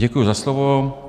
Děkuji za slovo.